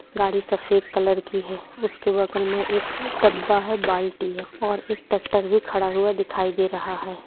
गाड़ी सफ़ेद कलर की है उसके बगल में डब्बा है बाल्टी है और एक ट्रैक्टर भी खड़ा हुआ दिखाई दे रहा है।